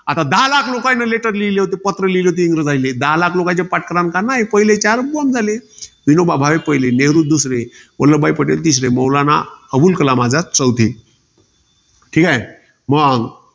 आता दहा लाख लोकाईले letter लिहले होते. पत्र लिहिले होते, इंग्रजाइले दहा लाख लोकांचे पहिले चार बोंब झाले. विनोभा भावे पहिले, नेहरू दुसरे, वल्लभभाई पटेल तिसरे, मौलाना अब्दुल कलाम आझाद चौथे. ठीकाय. मंग